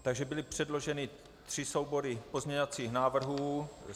Takže byly předloženy tři soubory pozměňovacích návrhů.